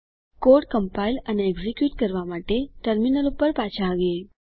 code compile અને execute કરવા માટે ટર્મિનલ પર પાછા આવીએ